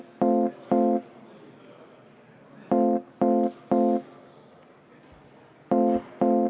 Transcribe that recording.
Jüri Jaanson, palun!